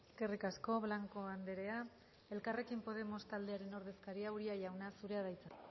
eskerrik asko blanco andrea elkarrekin podemos taldearen ordezkaria uria jauna zurea da hitza